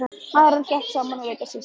Maðurinn hrökk saman og leit á systurnar.